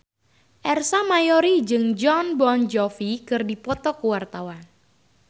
Ersa Mayori jeung Jon Bon Jovi keur dipoto ku wartawan